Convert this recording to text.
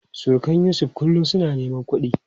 Surukan Yusuf kullum suna neman kudi.